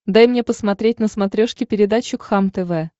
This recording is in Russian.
дай мне посмотреть на смотрешке передачу кхлм тв